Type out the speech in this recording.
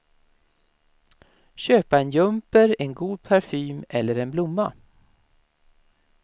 Köpa en jumper, en god parfym eller en blomma.